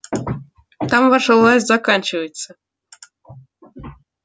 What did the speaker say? там ваша власть заканчивается